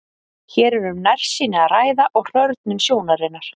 Hér er um nærsýni að ræða og hrörnun sjónunnar.